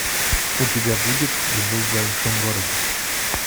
у тебя будет любовь в большом городе